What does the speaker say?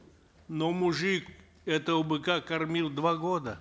но мужик этого быка кормил два года